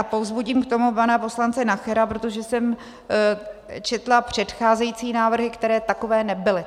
A povzbudím k tomu pana poslance Nachera, protože jsem četla předcházející návrhy, které takové nebyly.